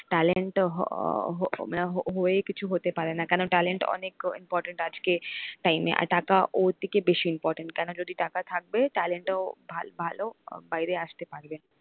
talent হয়ে কিছু হতে পারে না কেন talent অনেক important আজকে time এ আর টাকা ওর থেকে বেশি important কেন যদি টাকা থাকবে talent ও ভালো ভালো বাইরে আসতে পারবে,